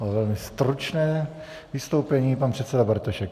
A velmi stručné vystoupení pan předseda Bartošek.